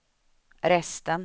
resten